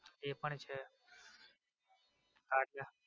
એ પણ છે.